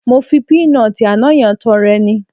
Mo fi píínọọ̀tì àná yẹn tọrẹ ni